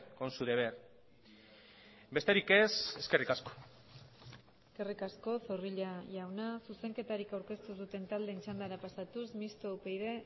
con su deber besterik ez eskerrik asko eskerrik asko zorrilla jauna zuzenketarik aurkeztu ez duten taldeen txandara pasatuz mistoa upyd